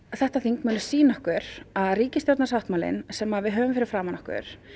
þetta þing mun sýna okkur að ríkisstjórnarsáttmálinn sem við höfum fyrir framan okkur